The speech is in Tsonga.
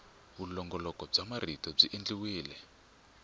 vulongoloxamarito byi endliwile hi nkhaqato